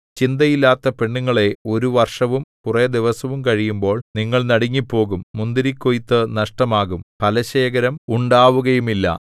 ചിന്തയില്ലാത്ത പെണ്ണുങ്ങളേ ഒരു വർഷവും കുറെ ദിവസവും കഴിയുമ്പോൾ നിങ്ങൾ നടുങ്ങിപ്പോകും മുന്തിരിക്കൊയ്ത്തു നഷ്ടമാകും ഫലശേഖരം ഉണ്ടാവുകയുമില്ല